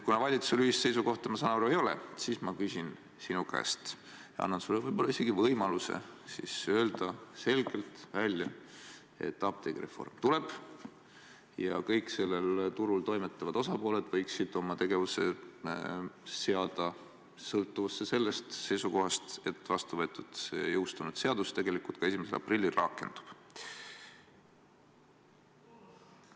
Kuna valitsusel ühist seisukohta, ma saan aru, ei ole, siis ma küsin sinu käest ja annan sulle võib-olla isegi võimaluse öelda selgelt välja, et apteegireform tuleb ja kõik sellel turul toimetavad osapooled võiksid oma tegevuse seada sõltuvusse sellest seisukohast, et vastuvõetud ja jõustunud seadus tegelikult ka 1. aprillil rakendub.